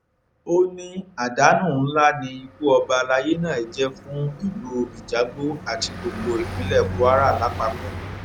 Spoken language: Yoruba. ó ní àdánù ńlá ni ikú ọba alayé náà jẹ fún ìlú ijagbó àti gbogbo ìpínlẹ kwara lápapọ